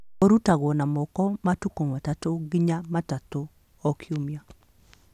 Ũrutagwo na moko matukũ matatũ nginya matatũ o kiumia